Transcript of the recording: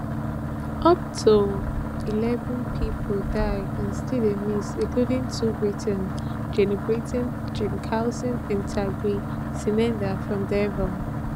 up to eleven pipo die or still dey miss including two britons jenny britons jenny cawson and tarig sinada from devon